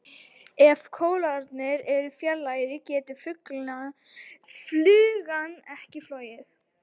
Ef kólfarnir eru fjarlægðir getur flugan ekki flogið.